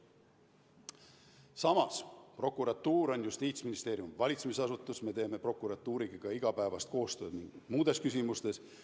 Samas, prokuratuur on Justiitsministeeriumi valitsemisasutus, me teeme prokuratuuriga igapäevast koostööd paljudes küsimustes.